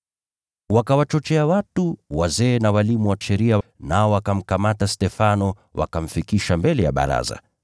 Wakawachochea watu, wazee na walimu wa Sheria, nao wakamkamata Stefano wakamfikisha mbele ya baraza.